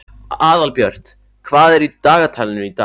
Aðalbjört, hvað er í dagatalinu í dag?